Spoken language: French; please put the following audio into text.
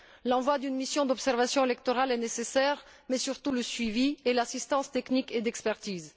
L'envoi d'une mission d'observation électorale est nécessaire mais, surtout, aussi le suivi et l'assistance technique et d'expertise.